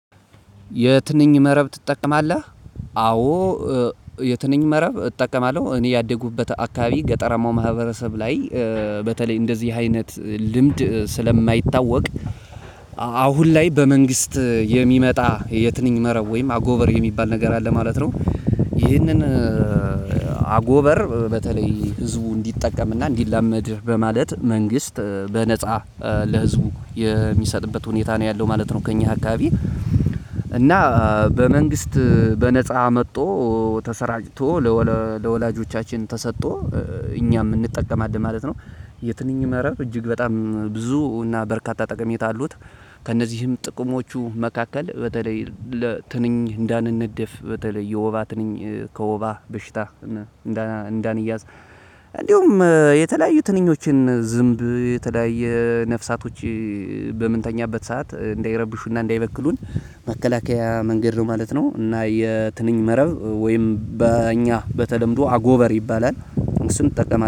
የትንኝ መረብ ትጠቀማለህ? አዎ። የትንኝ መረብ እጠቀማለሁ እኔ ያደጉበት አካባቢ ገጠራማው ማህበረሰብ ላይ በተለይ እንደዚህ አይነት ልምድ ስለማይታወቅ። አሁን ላይ በመንግስት የሚመጣ የትንኝ መረብ ወይም አጎበር የሚባል ነገር አለ ማለት ነው። ይህንን አጎበር በተለይ ህዝቡ እንዲጠቀምና እንዲላመድ በማለት መንግስት በነፃ ለህዝቡ የሚሰጥበት ሁኔታ ነው ያለው ማለት ነው። ከእኛ አካባቢ። እና በመንግስት በነፃ መጥቶ ተሰራጭቶ ለወላጆቻችን ተሰጥቶ እኛም እንጠቀማለን ማለት ነው። የትንኝ መረብ እጅግ በጣም ብዙ እና በርካታ ጠቀሜታ አሉት። ከእነዚህም ጥቅሞቹ መካከል በተለይ ለትንኝ እንዳንነደፍ በተለይ የወባ ትንኝ ከወባ በሽታ እንዳንይዝ። እንደውም የተለያዩ ትንኞችን ዝምብ የተለያየ ነፍሳቶች በምንተኛበት ሰዓት እንዳይረብሹና እንዳይበክሉን መከላከያ መንገድ ነው ማለት ነው። እና የትንኝ መረብ ወይም በእኛ በተለምዶ አጎበር ይባላል። እሱን እጠቀማለሁ